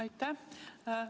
Aitäh!